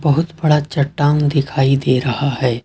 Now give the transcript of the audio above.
बहुत बड़ा चट्टान दिखाई दे रहा है।